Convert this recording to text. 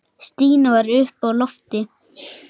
Stína var uppi á lofti.